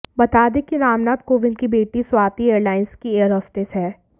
बता दें कि रामनाथ कोविंद की बेटी स्वाति एयरलाइंस की एयरहोस्टेस हैं